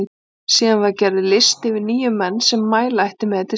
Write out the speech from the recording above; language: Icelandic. Síðan var gerður listi yfir níu menn sem mæla ætti með til stjórnarkjörs.